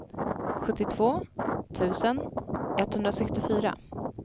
sjuttiotvå tusen etthundrasextiofyra